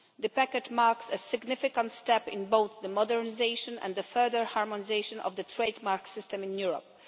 The package marks a significant step in both the modernisation and the further harmonisation of the trade mark system in Europe.